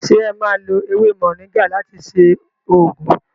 Se e má lo ewé moringa láti ṣe oògùn?